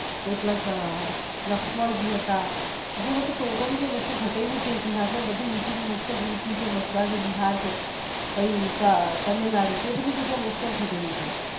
કેટલાક લક્ષમણજી હતા જેમાં totaly જે વસ્તુ ઘટેલું છે ઇતિહાસ માં બધું easyliy mostof યુપી છે મદ્રાસ બિહાર છે પઇ તામિલનાડુ છે તે બધી જગ્યાએ most off ઘટેલું છે